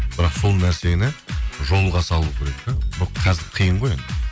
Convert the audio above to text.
бірақ сол нәрсені жолға салу керек те қазір қиын ғой енді